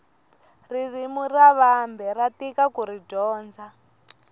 ririmi ra vambe ra tika kuri dyondza